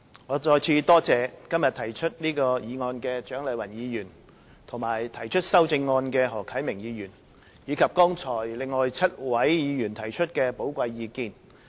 我再次多謝今天提出這項議案的蔣麗芸議員和提出修正案的何啟明議員，以及另外7位議員剛才提出寶貴意見。